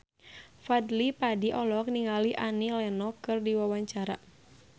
Fadly Padi olohok ningali Annie Lenox keur diwawancara